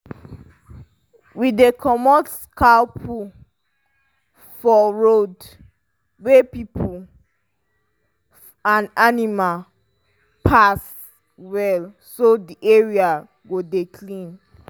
we dey comot cow poo for road weh people and animal pass well so the area go dey clean